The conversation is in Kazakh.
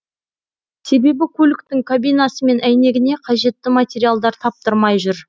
себебі көліктің кабинасы мен әйнегіне қажетті материалдар таптырмай жүр